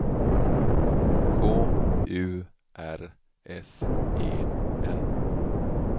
K U R S E N